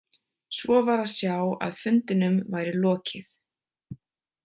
Svo var að sjá að fundinum væri lokið.